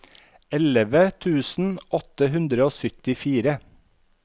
elleve tusen åtte hundre og syttifire